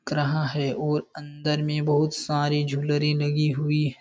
दिख रहा है और अंदर में बहुत सारी झूलरी लगी हुई है।